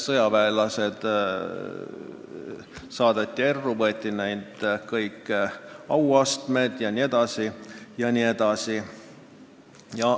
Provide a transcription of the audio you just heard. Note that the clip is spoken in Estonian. Sõjaväelased saadeti erru, võeti neilt nende auastmed jne, jne.